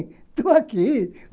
Estou aqui.